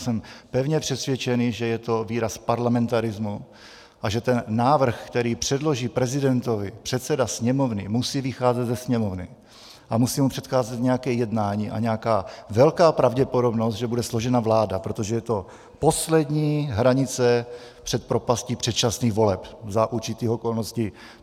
Jsem pevně přesvědčený, že je to výraz parlamentarismu a že ten návrh, který předloží prezidentovi předseda Sněmovny, musí vycházet ze Sněmovny a musí mu předcházet nějaké jednání a nějaká velká pravděpodobnost, že bude složena vláda, protože je to poslední hranice před propastí předčasných voleb za určitých okolností.